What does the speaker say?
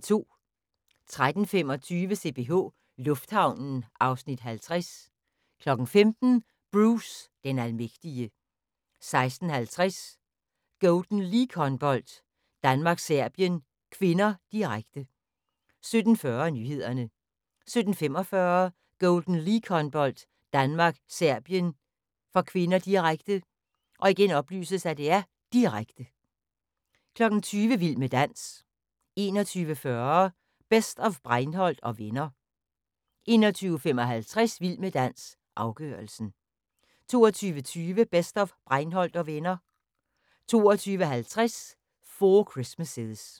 13:25: CPH Lufthavnen (Afs. 50) 15:00: Bruce den almægtige 16:50: Golden League-håndbold: Danmark-Serbien (k), direkte 17:40: Nyhederne 17:45: Golden League-håndbold: Danmark-Serbien (k), direkte, direkte 20:00: Vild med dans 21:40: Best of Breinholt & Venner 21:55: Vild med dans – afgørelsen 22:20: Best of Breinholt & Venner 22:50: Four Christmases